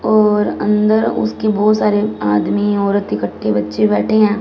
और अंदर उसके बहोत सारे आदमी औरत इकट्ठे बच्चे बैठे हैं।